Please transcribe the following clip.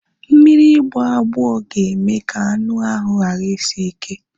Mmiri ịgboagbo ga-eme ka anu ahu ghara isi ike